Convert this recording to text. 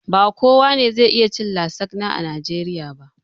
Ba kowa ne zai iya cin lasagna a najeriya ba